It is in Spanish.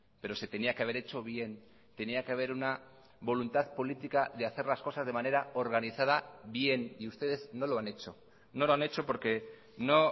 pero se tenía que haber hecho bien tenía que haber una voluntad política de hacer las cosas de manera organizada bien y ustedes no lo han hecho no lo han hecho porque no